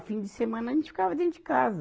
A fim de semana a gente ficava dentro de casa.